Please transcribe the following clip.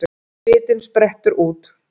Svitinn sprettur út.